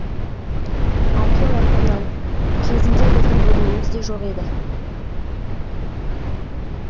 әкем артымнан кезінде біздің бөлмеміз де жоқ еді